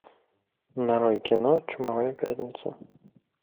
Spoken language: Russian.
нарой кино чумовая пятница